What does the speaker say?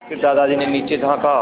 फिर दादाजी ने नीचे झाँका